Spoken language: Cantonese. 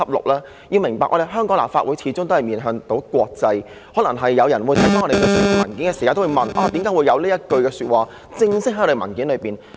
大家要明白，香港立法會始終也面向國際，可能有人在看到我們提交的文件時也會問，為何會有這一句話正式寫在文件內？